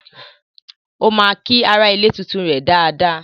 Ó ma kí aralè tuntun rè dáadáa